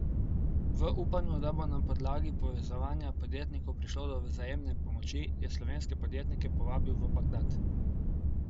V upanju, da bo na podlagi povezovanja podjetnikov prišlo do vzajemne pomoči, je slovenske podjetnike povabil v Bagdad.